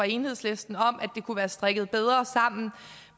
enhedslisten om at det kunne være strikket bedre sammen